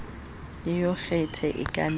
le yogathe e ka nwewa